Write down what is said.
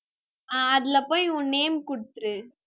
ஆஹ் அதுல போய், உன் name குடுத்துரு